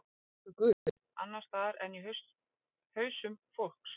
Er til einhver guð, annars staðar en í hausum fólks?